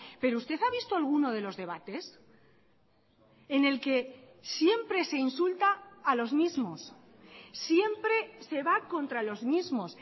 pero usted ha visto alguno de los debates en el que siempre se insulta a los mismos siempre se va contra los mismos